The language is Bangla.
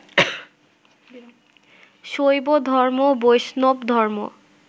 শৈবধর্ম, বৈষ্ণবধর্ম